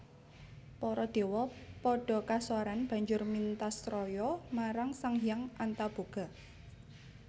Para dewa padha kasoran banjur mintasraya marang Sang Hyang Antaboga